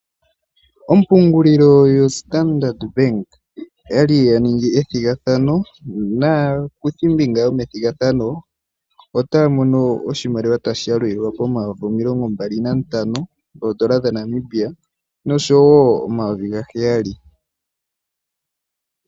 Ompungulilo yoStandard Bank oya li ya ningi ethigathano naakuthimbinga yomethigathano otaya mono oshimaliwa tashi yalulilwa pomayovi omilongombali nantano goodola dhaNamibia nosho wo omayovi gaheyali.